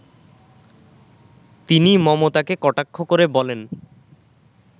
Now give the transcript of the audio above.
তিনি মমতাকে কটাক্ষ করে বলেন